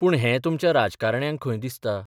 पूण हें तुमच्या राजकारण्यांक खंय दिसता?